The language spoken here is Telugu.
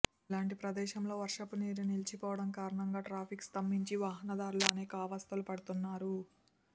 ఇలాంటి ప్రదేశంలో వర్షపు నీరు నిలిచిపోవడం కారణంగా ట్రాఫిక్ స్తంభించి వాహనదారులు అనేక అవస్థలు పడుతున్నారు